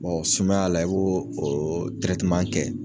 Bɔ sumaya la i b'o oo kɛ